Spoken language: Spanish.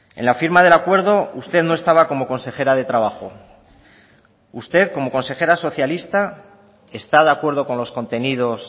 en la firma del acuerdo usted no estaba como consejera de trabajo usted como consejera socialista está de acuerdo con los contenidos